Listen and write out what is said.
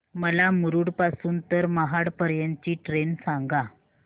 मला मुरुड पासून तर महाड पर्यंत ची ट्रेन सांगा